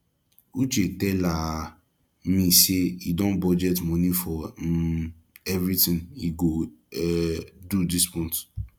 uche tell um me say he don budget money for um everything he go um do dis month